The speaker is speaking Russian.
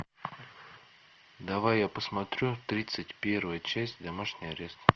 давай я посмотрю тридцать первая часть домашний арест